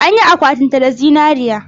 An yi akwatinsa da zinariya.